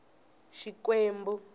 xikwembu